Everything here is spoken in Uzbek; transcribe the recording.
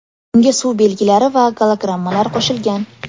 Unga suv belgilari va gologrammalar qo‘shilgan.